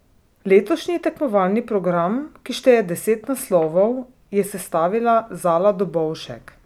Letošnji tekmovalni program, ki šteje deset naslovov, je sestavila Zala Dobovšek.